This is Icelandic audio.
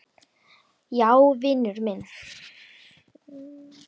Já, vinur minn.